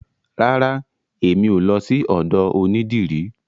Rara, emi o lọ sí ọ̀dọ onídìrí.